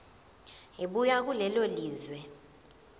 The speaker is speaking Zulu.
ebuya kulelo lizwe